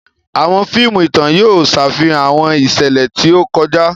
Awọn fíìmù ìtàn yóò ṣàfihàn awọn iṣẹlẹ ti o kọjá.